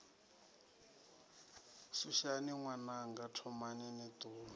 suvhani ṅwananga thomani ni ṱuwe